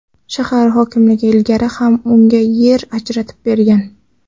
Shahar hokimligi ilgari ham unga yer ajratib bergan.